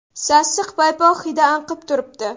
Sassiq paypoq hidi anqib turibdi.